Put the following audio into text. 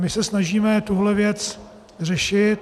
My se snažíme tuhle věc řešit.